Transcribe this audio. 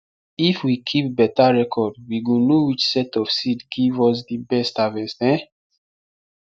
if we keep beta reocrd we go know which set of seed give us di best harvest um